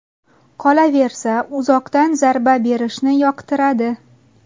Qolaversa, uzoqdan zarba berishni yoqtiradi.